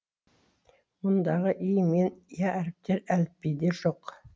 мұндағы и мен я әріптері әліпбиде жоқ